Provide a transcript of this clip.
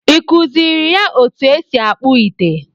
Ị kụziiri ya otú e si akpụ ite?